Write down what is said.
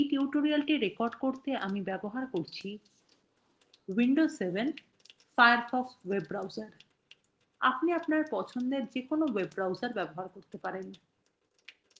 এই tutorial record করতে আমি ব্যবহার করছি: